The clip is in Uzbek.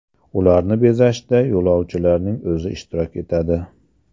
Ularni bezashda yo‘lovchilarning o‘zi ishtirok etadi.